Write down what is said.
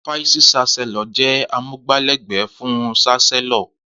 Fàísì ṣàsẹló jẹ àmúgbà lẹgbẹ fún ṣàsẹló.